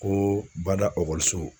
Koo bada ɔkɔliso